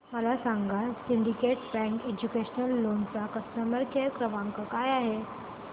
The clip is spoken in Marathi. मला सांगा सिंडीकेट बँक एज्युकेशनल लोन चा कस्टमर केअर क्रमांक काय आहे